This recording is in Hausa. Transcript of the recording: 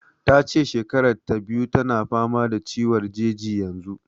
Ta ce shekarar ta biyu tana fama da ciwon jeji yanzu.